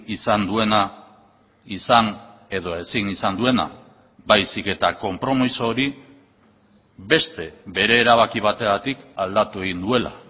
izan duena izan edo ezin izan duena baizik eta konpromiso hori beste bere erabaki bategatik aldatu egin duela